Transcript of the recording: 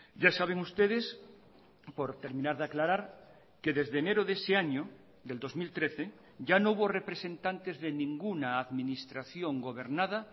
ya saben ustedes por terminar de aclarar que desde enero de ese año del dos mil trece ya no hubo representantes de ninguna administración gobernada